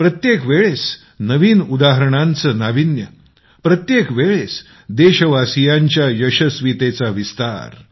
प्रत्येक वेळेस नवीन उदाहरणांचं नाविन्य प्रत्येक वेळेस देशवासियांच्या यशस्वीतेचा विस्तार